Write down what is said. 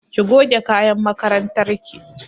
Ki goge kayan makarantar ki!